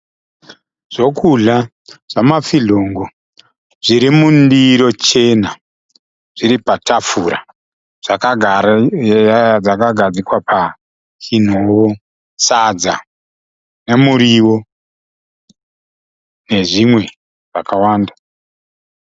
Zvekudya zvama fizhongo zviri mundiro chena zviri patafura zvakagario zvakagadzikwa pachinhovo. Sadza nemuriwo nezvimwe zvakawanda.